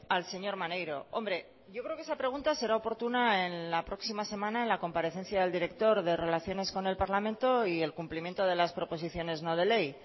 al señor maneiro hombre yo creo que esa pregunta será oportuna en la próxima semana en la comparecencia del director de relaciones con el parlamento y el cumplimiento de las proposiciones no de ley